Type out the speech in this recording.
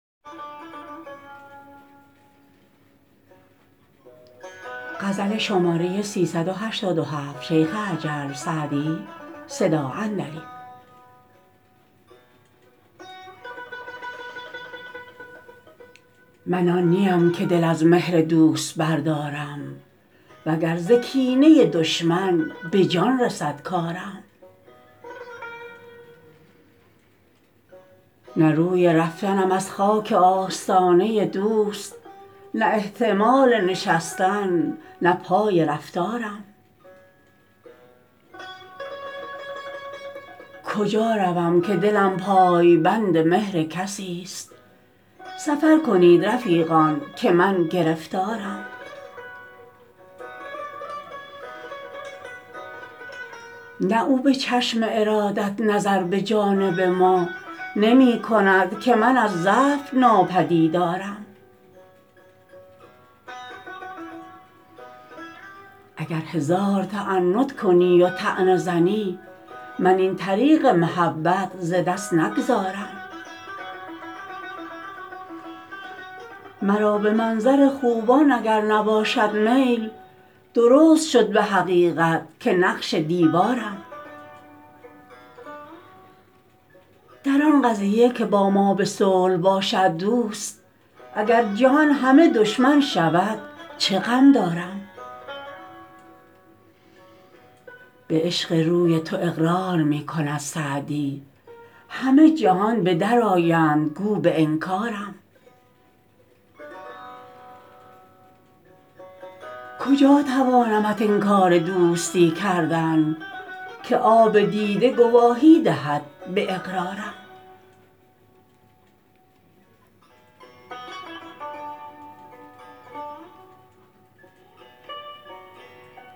من آن نی ام که دل از مهر دوست بردارم و گر ز کینه دشمن به جان رسد کارم نه روی رفتنم از خاک آستانه دوست نه احتمال نشستن نه پای رفتارم کجا روم که دلم پای بند مهر کسی ست سفر کنید رفیقان که من گرفتارم نه او به چشم ارادت نظر به جانب ما نمی کند که من از ضعف ناپدیدارم اگر هزار تعنت کنی و طعنه زنی من این طریق محبت ز دست نگذارم مرا به منظر خوبان اگر نباشد میل درست شد به حقیقت که نقش دیوارم در آن قضیه که با ما به صلح باشد دوست اگر جهان همه دشمن شود چه غم دارم به عشق روی تو اقرار می کند سعدی همه جهان به در آیند گو به انکارم کجا توانمت انکار دوستی کردن که آب دیده گواهی دهد به اقرارم